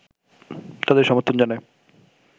তাদের সমর্থন জানায়